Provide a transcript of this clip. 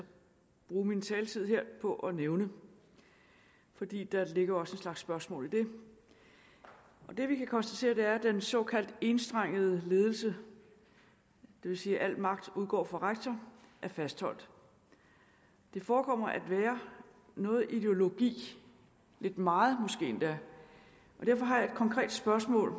bruge min taletid her på at nævne fordi der også ligger en slags spørgsmål i det det vi kan konstatere er at den såkaldte enstrengede ledelse det vil sige at al magten udgår fra rektor er fastholdt det forekommer at være noget ideologisk lidt meget måske endda og derfor har jeg et konkret spørgsmål